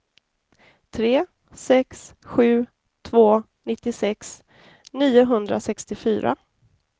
tre sex sju två nittiosex niohundrasextiofyra